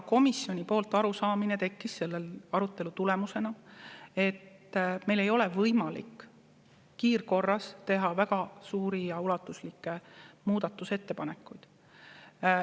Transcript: Komisjonis tekkis meil selle arutelu tulemusena arusaam, et meil ei ole võimalik teha kiirkorras väga suuri ja ulatuslikke muudatusettepanekuid.